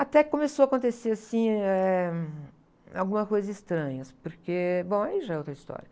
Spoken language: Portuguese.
Até que começou a acontecer, assim, eh, algumas coisas estranhas, porque, bom, aí já é outra história.